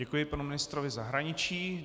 Děkuji panu ministrovi zahraničí.